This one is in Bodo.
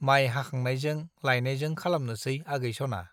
माइ हाखांनायजों लायनायजों खालामनोसै आगै सना ?